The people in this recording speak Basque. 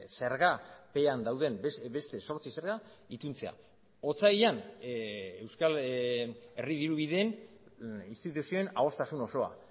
zergapean dauden beste zortzi zerga ituntzea otsailean euskal herri dirubideen instituzioen adostasun osoa